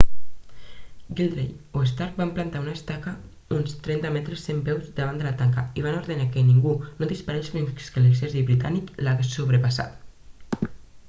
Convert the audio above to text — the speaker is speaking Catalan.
gridley o stark van plantar una estaca uns 30 metres 100 peus davant la tanca i van ordenar que ningú no disparés fins que l'exèrcit britànic l'hagués sobrepassat